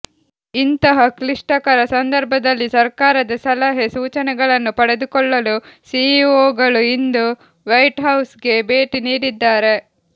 ಇಂತಹ ಕ್ಲಿಷ್ಟಕರ ಸಂದರ್ಭದಲ್ಲಿ ಸರ್ಕಾರದ ಸಲಹೆ ಸೂಚನೆಗಳನ್ನು ಪಡೆದುಕೊಳ್ಳಲು ಸಿಇಒಗಳು ಇಂದು ವೈಟ್ ಹೌಸ್ ಗೆ ಭೇಟಿ ನೀಡಿದ್ದಾರೆ